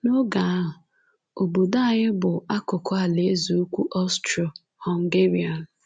N’oge ahụ, obodo anyị bụ akụkụ Alaeze Ukwu Austro - Hungarian.